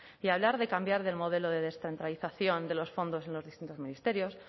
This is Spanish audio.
y hablar de cambiar del modelo de descentralización de los fondos en los distintos ministerios